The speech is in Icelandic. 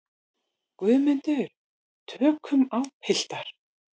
GUÐMUNDUR: Tökum á, piltar.